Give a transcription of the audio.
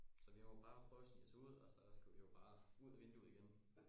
Så vi må jo bare prøve og snige os ud så skulle vi jo bare ud af vinduet igen